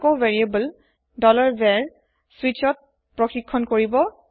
আকৌ variable var switchত check হব